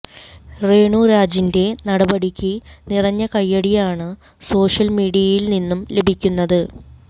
രേണുരാജിന്റെ നടപടിയ്ക്ക് നിറഞ്ഞ കൈയ്യടിയാണ് സോഷ്യല് മീഡിയയില് ന്ിന്നും ലഭിക്കുന്നത്